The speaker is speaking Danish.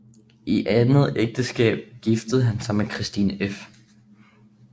I andet ægteskab giftede han sig med Christine f